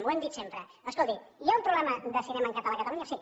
ho hem dit sempre escolti hi ha un problema de cinema en català a catalunya sí